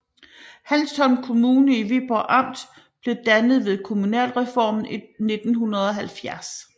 Hanstholm Kommune i Viborg Amt blev dannet ved kommunalreformen i 1970